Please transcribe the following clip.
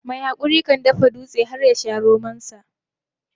Mai hakuri kan dafa dutse har yasha romonsa.